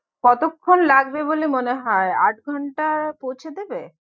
কতক্ষণ লাগবে বলে মনে হয় আট ঘন্টায় পৌঁছে দেবে?